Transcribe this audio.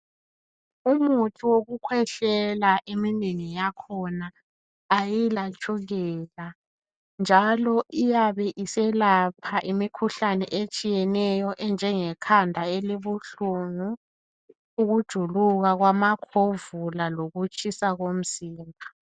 Umuthi wokukhwehlela, eminengi yakhona ayilatshukela njalo iyabe iselapha imikhuhlane etshiyeneyo enjengekhanda elibuhlungu, ukujuluka kwamakhovula lokutshisa komzimba.